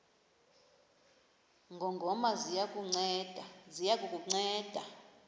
ngongoma ziya kukunceda